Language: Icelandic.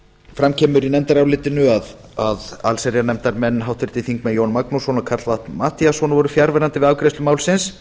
fram kemur í nefndarálitinu að allsherjarnefndarmenn háttvirtir þingmenn jón magnússon og karl fimmti matthíasson voru fjarverandi við afgreiðslu málsins